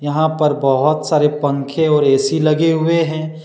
यहां पर बहुत सारे पंखे और ए_सी लगे हुए हैं।